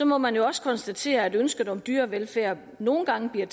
må man jo også konstatere at ønsket om dyrevelfærd nogle gange bliver